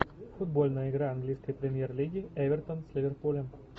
футбольная игра английской премьер лиги эвертон с ливерпулем